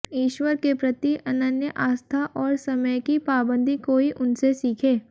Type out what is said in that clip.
ईश्वर के प्रति अनन्य आस्था और समय की पाबंदी कोई उनसे सीखे